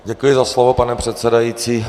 Děkuji za slovo, pane předsedající.